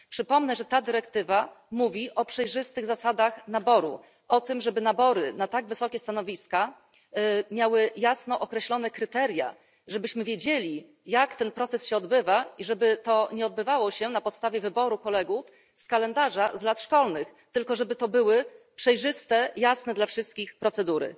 Przypomnę, że ta dyrektywa mówi o przejrzystych zasadach naboru, o tym, żeby nabory na tak wysokie stanowiska miały jasno określone kryteria, żebyśmy wiedzieli, jak ten proces się odbywa, i żeby to nie odbywało się na podstawie wyboru kolegów z kalendarza z lat szkolnych, tylko żeby to były przejrzyste i jasne dla wszystkich procedury.